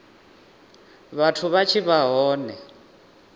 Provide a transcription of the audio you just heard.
vhathu vha tshi vha hone